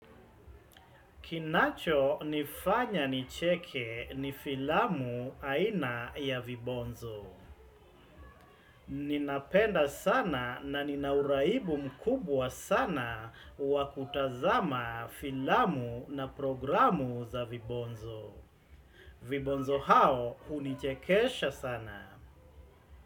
Kinacho nifanya nicheke ni filamu aina ya vibonzo. Ninapenda sana na nina uraibu mkubwa sana wa kutazama filamu na programu za vibonzo. Vibonzo hao unichekesha sana.